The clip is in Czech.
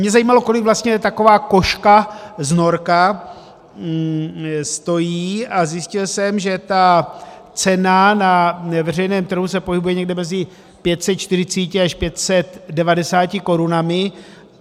Mě zajímalo, kolik vlastně taková kožka z norka stojí, a zjistil jsem, že ta cena na veřejném trhu se pohybuje někde mezi 540 až 590 korunami.